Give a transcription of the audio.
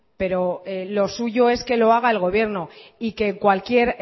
pero lo suyo es que lo haga el gobierno y que cualquier